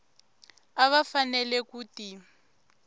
a va fanele ku ti